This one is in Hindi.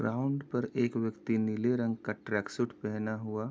ग्राउंड पर एक व्यक्ति नीले रंग का ट्रैकसूट पेहना हुआ --